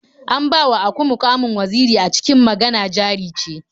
An bawa aku muƙamin waziri a cikin Magana Jari Ce.